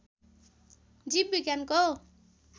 जीव विज्ञानको